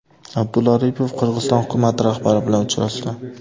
Abdulla Aripov Qirg‘iziston hukumati rahbari bilan uchrashdi.